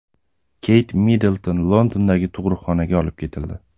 Keyt Middlton Londondagi tug‘uruqxonaga olib ketildi.